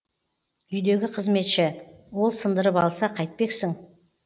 үйдегі қызметші ол сындырып алса қайтпексің